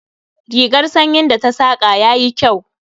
Rigar sanyin da ta saƙa yayi kyau